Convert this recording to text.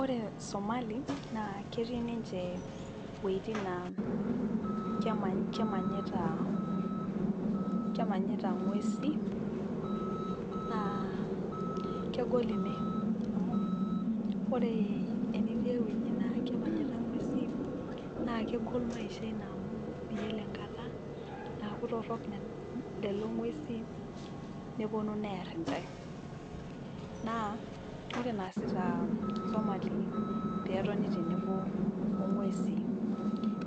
ore somali naa ketii niche wejitin naa kemanita ingwesin , naa kegol amu ore pee itii eweji nemanita igwesin naa miyiolo enkata naaku torok lelong'uesin nepuonu neer intae, naa ore enaasita isomali pee etoni tenebo